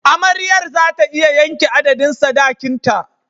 Amaryar za ta iya yanke adadin sadakinta.